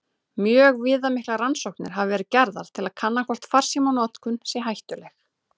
Mjög viðamiklar rannsóknir hafa verið gerðar til að kanna hvort farsímanotkun sé hættuleg.